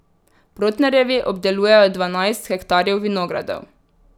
Protnerjevi obdelujejo dvanajst hektarjev vinogradov.